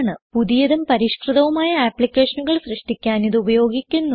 പുതിയതും പരിഷ്കൃതവുമായ ആപ്ലിക്കേഷനുകൾ സൃഷ്ടിക്കുവാൻ ഇത് ഉപയോഗിക്കുന്നു